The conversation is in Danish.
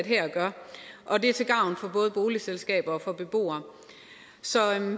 her gør og det er til gavn for både boligselskaber og for beboere så